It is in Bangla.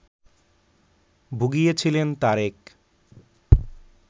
ভুগিয়েছিলেন তারেক